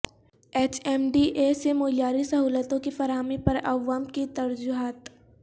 H M D A سے معیاری سہولتوں کی فراہمی پر عوام کی ترجیحات